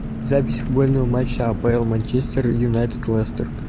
запись футбольного матча апл манчестер юнайтед лестер